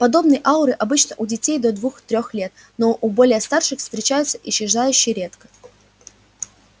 подобные ауры обычны у детей до двух-трех лет но у более старших встречаются исчезающе редко